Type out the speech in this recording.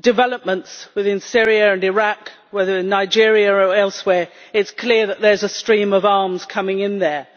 developments within Syria and Iraq, or whether in Nigeria or elsewhere, it is clear that there is a stream of arms coming in there.